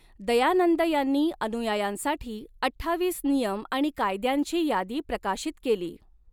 दयानंद यांनी अनुयायांसाठी अठ्ठावीस नियम आणि कायद्यांची यादी प्रकाशित केली.